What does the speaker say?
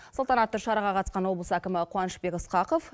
салтанатты шараға қатысқан облыс әкімі қуанышбек ысқақов